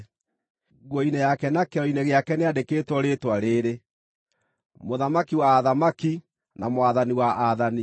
Nguo-inĩ yake na kĩero-inĩ gĩake nĩandĩkĩtwo rĩĩtwa rĩĩrĩ: “MŨTHAMAKI WA ATHAMAKI, NA MWATHANI WA AATHANI.”